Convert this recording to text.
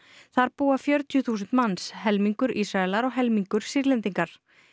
þar búa fjörutíu þúsund manns helmingur Ísraelar og helmingur Sýrlendingar